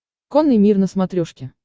конный мир на смотрешке